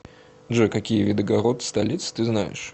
джой какие виды город столиц ты знаешь